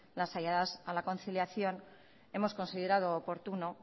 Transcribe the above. las ayudas a la conciliación hemos considerado oportuno